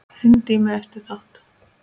Hringdi í mig eftir þátt.